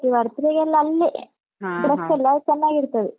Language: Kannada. Birthday ಗೆಲ್ಲ ಅಲ್ಲಿಯೇ, dress ಎಲ್ಲಾ ಚೆನ್ನಾಗಿರ್ತದೆ.